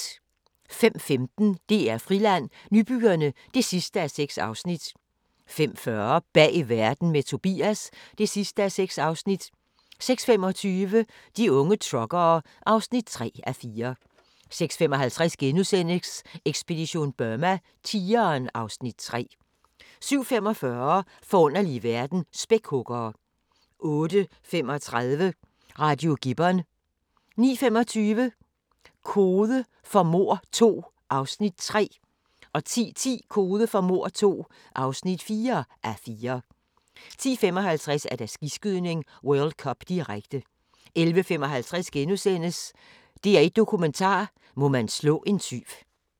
05:15: DR-Friland: Nybyggerne (6:6) 05:40: Bag verden – med Tobias (6:6) 06:25: De unge truckere (3:4) 06:55: Ekspedition Burma: Tigeren (Afs. 3)* 07:45: Forunderlig verden – Spækhuggere 08:35: Radio Gibbon 09:25: Kode for mord II (3:4) 10:10: Kode for mord II (4:4) 10:55: Skiskydning: World Cup, direkte 11:55: DR1 Dokumentar: Må man slå en tyv *